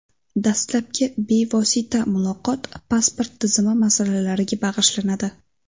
Dastlabki bevosita muloqot pasport tizimi masalalariga bag‘ishlanadi.